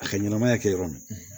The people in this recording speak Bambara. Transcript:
A ka ɲɛnamaya kɛ yɔrɔ min na